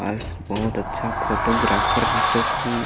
आस बहुत अच्छा फोटोग्राफर रहचअस ही --